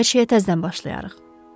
Hər şeyə təzədən başlayarıq."